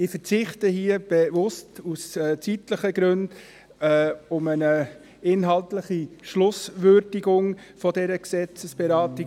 Ich verzichte hier bewusst, aus zeitlichen Gründen, auf eine inhaltliche Schlusswürdigung dieser Gesetzesberatung.